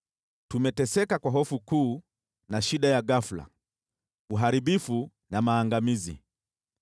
Tumeteseka kwa hofu kuu na shida ya ghafula, uharibifu na maangamizi.”